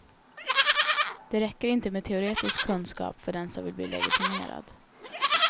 Det räcker inte med teoretisk kunskap för den som vill bli legitimerad.